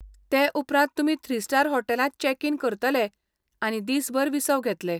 ते उपरांत तुमी थ्री स्टार हॉटेलांत चेक इन करतले आनी दीसभर विसव घेतले.